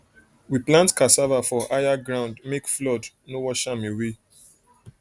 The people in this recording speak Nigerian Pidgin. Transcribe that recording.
we plant cassava for higher ground make flood no wash am away